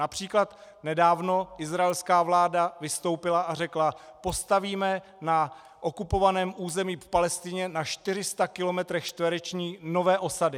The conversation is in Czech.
Například nedávno izraelská vláda vystoupila a řekla: Postavíme na okupovaném území v Palestině na 400 kilometrech čtverečních nové osady.